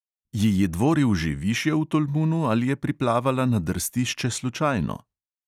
Ji je dvoril že višje v tolmunu ali je priplavala na drstišče slučajno?